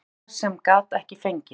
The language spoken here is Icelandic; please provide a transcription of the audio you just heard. Leikmaður sem ég gat ekki fengið?